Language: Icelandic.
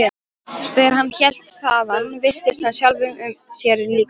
Þegar hann hélt þaðan virtist hann sjálfum sér líkastur.